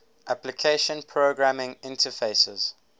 application programming interfaces